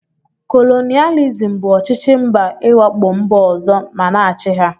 Kolonialisim bụ ọchịchị mba iwakpo mba ọzọ ma na achị ha.